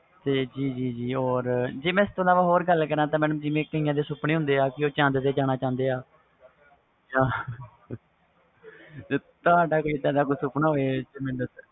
ਤੇ ਜੀ ਜੀ ਜੇ or ਮੈਂ ਇਹਦੇ ਬਾਰੇ ਹੋਰ ਗੱਲ ਕਰਾ ਤਾ ਕਈਆਂ ਦੇ ਸੁਪਨੇ ਹੁੰਦੇ ਵ ਜੋ ਚੰਦ ਤੇ ਜਾਣਾ ਚਾਹੁੰਦੇ ਨੇ ਤੁਹਾਡਾ ਕੋਈ ਇਹਦਾ ਦਾ ਕੋਈ ਸੁਪਨਾ ਹੋਵੇ